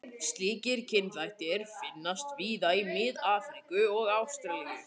Slíkir kynþættir finnast víða í Mið-Afríku og Ástralíu.